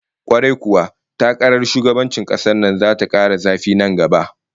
Kwarai kuwa, takarar shugabancin kasar nan zata kara zafi nan gaba